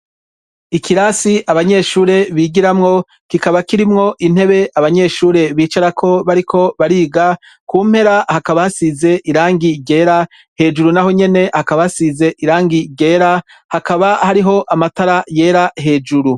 ikirasi abanyeshure bigiramwo kikaba kirimwo intebe abanyeshuri bicar ko bariko bariga ku mpera hakaba hasize irangi ryera hejuru naho nyene hakaba hasize irangi ryera hakaba hariho amatara yera hejuru